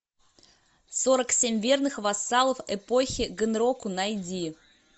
сорок семь верных вассалов эпохи гэнроку найди